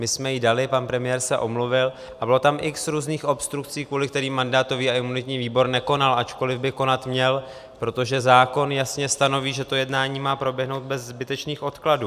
My jsme ji dali, pan premiér se omluvil a bylo tam x různých obstrukcí, kvůli kterým mandátový a imunitní výbor nekonal, ačkoli by konat měl, protože zákon jasně stanoví, že to jednání má proběhnout bez zbytečných odkladů.